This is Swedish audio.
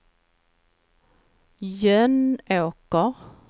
Jönåker